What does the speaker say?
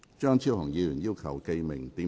張超雄議員要求點名表決。